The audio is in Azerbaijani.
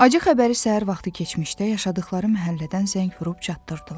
Acı xəbəri səhər vaxtı keçmişdə yaşadıqları məhəllədən zəng vurub çatdırdılar.